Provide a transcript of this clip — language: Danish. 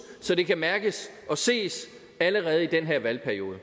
så det kan mærkes og ses allerede i den her valgperiode vi